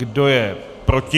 Kdo je proti?